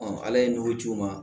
ala ye nugu c'o ma